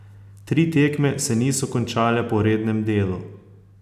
Tri tekme se niso končale po rednem delu.